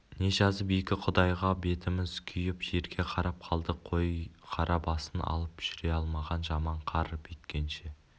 не жазып екі құдайға бетіміз күйіп жерге қарап қалдық қой қара басын алып жүре алмаған жаман қар бүйткенше